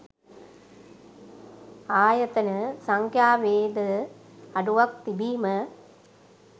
ආයතන සංඛ්‍යාවේද අඩුවක් තිබීම